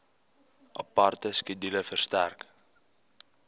aparte skedule verstrek